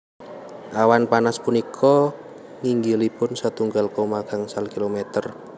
Awan panas punika nginggilipun setunggal koma gangsal kilometer